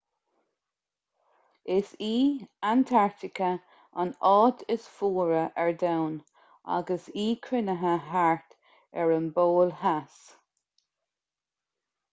is í antartaice an áit is fuaire ar domhan agus í cruinnithe thart ar an bpol theas